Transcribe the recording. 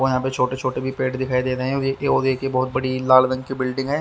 और यहाँ पे छोटे छोटे भी पेड़ दिखाई दे रहे है और एक बहत बड़ी लाल रंग की बिल्डिंग है।